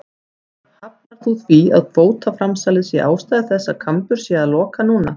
Lára: Hafnar þú því að kvótaframsalið sé ástæða þess að Kambur sé að loka núna?